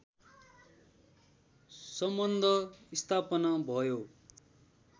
सम्बन्ध स्थापना भयो